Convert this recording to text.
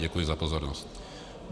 Děkuji za pozornost.